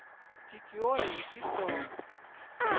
De gjorde det jo sidste år.